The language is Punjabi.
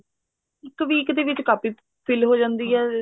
ਇੱਕ week ਦੇ ਵਿੱਚ ਕਾਪੀ fill ਹੋ ਜਾਂਦੀ ਆ